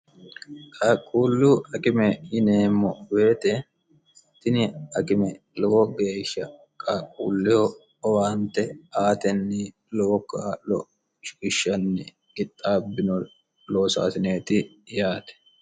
qaaqquullu akime yineemmo weete tini akime lowo geeshsha qaaqquulleho owaante aatenni lowo kaa'lo shiishshanni ixxaabbino loosaasineeti yaate